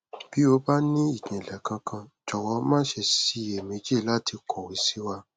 bí o bá ní ìjìnlẹ kankan jọwọ má ṣe ṣiyè méjì láti kọwé sí wa